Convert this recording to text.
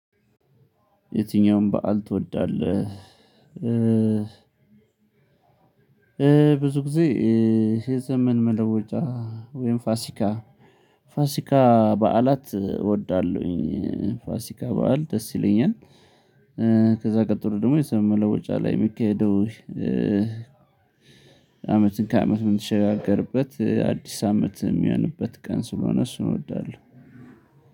የትኛውም በዓል ትወዳለህ? ብዙ ጊዜ የዘመን መለወጫ ወይም ፋሲካ ፋሲካ በዓላት እወዳለሁኝ ፋሲካ በዓል ደስ ይለኛል። ከዛ ቀጥሎ ደግሞ የዘመን መለወጫ ላይ የሚካሄደው አመትን ከአመት የምትሸጋገርበት አዲስ አመት የሚሆንበት ቀን ስለሆነ እሱን እወዳለሁ።